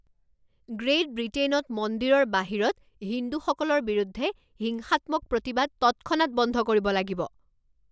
great ব্ৰিটেইনত মন্দিৰৰ বাহিৰত হিন্দুসকলৰ বিৰুদ্ধে হিংসাত্মক প্ৰতিবাদ তৎক্ষণাত বন্ধ কৰিব লাগিব